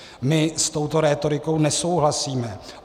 My s touto rétorikou nesouhlasíme.